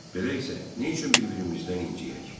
Belə isə, niyə üçün bir-birimizdən inciyək?